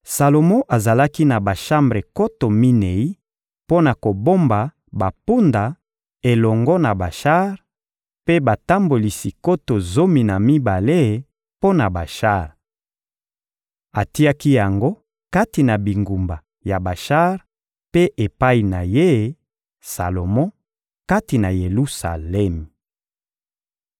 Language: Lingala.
Salomo azalaki na bashambre nkoto minei mpo na kobomba bampunda elongo na bashar, mpe batambolisi nkoto zomi na mibale mpo na bashar. Atiaki yango kati na bingumba ya bashar mpe epai na ye, Salomo, kati na Yelusalemi.